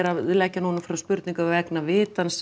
að leggja núna fram spurningu vegna vitans